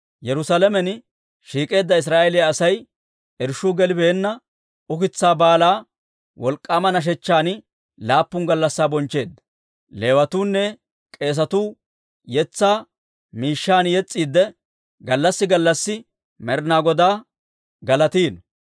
Yerusaalamen shiik'eedda Israa'eeliyaa Asay irshshuu gelibeenna ukitsaa Baalaa wolk'k'aama nashechchan laappun gallassi bonchcheedda. Leewatuunne k'eesatuu yetsaa miishshan yes's'iidde, gallassi gallassi Med'inaa Godaa galatiino.